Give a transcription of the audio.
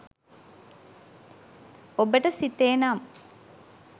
ඔබට සිතේ නම්